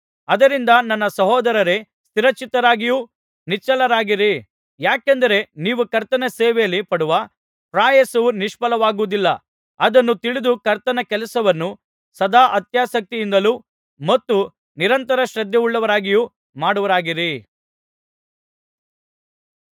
ಆದ್ದರಿಂದ ನನ್ನ ಸಹೋದರರೇ ಸ್ಥಿರಚಿತ್ತರಾಗಿಯೂ ನಿಶ್ಚಲರಾಗಿರಿ ಯಾಕೆಂದರೆ ನೀವು ಕರ್ತನ ಸೇವೆಯಲ್ಲಿ ಪಡುವ ಪ್ರಯಾಸವು ನಿಷ್ಫಲವಾಗುವುದಿಲ್ಲ ಅದನ್ನು ತಿಳಿದು ಕರ್ತನ ಕೆಲಸವನ್ನು ಸದಾ ಅತ್ಯಾಸಕ್ತಿಯಿಂದಲೂ ಮತ್ತು ನಿರಂತರ ಶ್ರದ್ಧೆಯುಳ್ಳವರಾಗಿಯೂ ಮಾಡುವವರಾಗಿರಿ